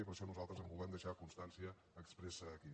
i per això nosaltres en volem deixar constància expressa aquí